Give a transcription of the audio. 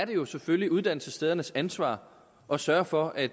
jo selvfølgelig uddannelsesstedernes ansvar at sørge for at